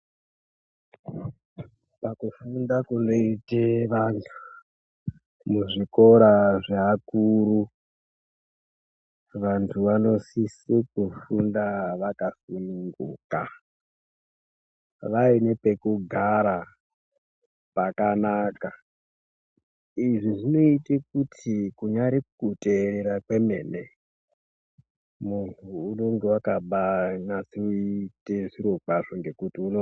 Pakufunda kunoite vantu muzvikora zveakuru, vantu vanosise kufunda vakasununguka vaine pekugara pakanaka izvi zvinoite kuti kunyari kuteerera kwemene muntu unonga baaa kuita chiro chake nekuti uno.......